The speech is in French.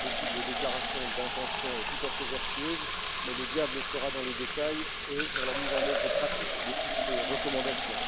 Nous avons beaucoup de déclarations d'intention tout à fait vertueuses, mais le diable sera dans les détails et dans la mise en œuvre pratique de toutes ces recommandations.